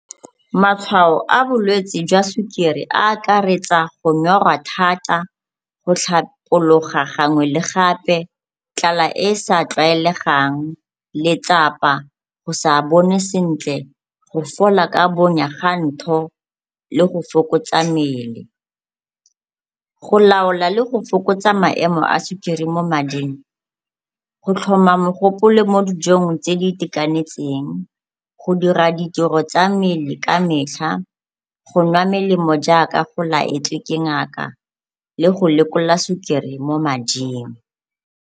Matshwao a bolwetsi jwa sukiri a akaretsa go nyorwa thata, go tlhapologa gangwe le gape, tlala e e sa tlwaelegang, letsapa, go sa bone sentle, go fola ka bonya ga ntho le go fokotsa mmele. Go laola le go fokotsa maemo a sukiri mo mading, go tlhoma megopolo mo dijong tse di itekanetseng, go dira ditiro tsa mmele ka metlha, go nwa melemo jaaka o laetswe ke ngaka le go lekola sukiri mo mading.